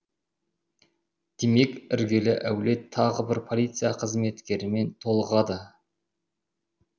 демек іргелі әулет тағы бір полиция қызметкерімен толығады